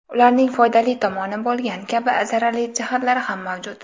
Ularning foydali tomoni bo‘lgani kabi zararli jihatlari ham mavjud.